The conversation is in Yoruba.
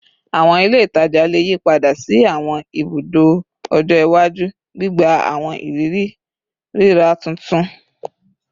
Awọn ile itaja le yipada si awọn ibudo ọjọ iwaju, gbigba awọn iriri rira tuntun